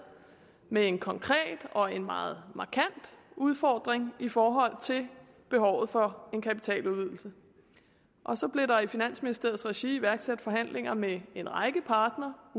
med en konkret og en meget markant udfordring i forhold til behovet for en kapitaludvidelse og så blev der i finansministeriets regi iværksat forhandlinger med en række partnere og